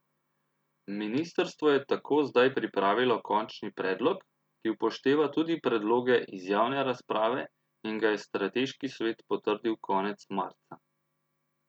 Ministrstvo je tako zdaj pripravilo končni predlog, ki upošteva tudi predloge iz javne razprave in ga je strateški svet potrdil konec marca.